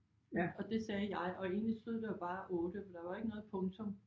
Og det sagde jeg og egentlig stod der jo bare 8 for der var ikke noget punktum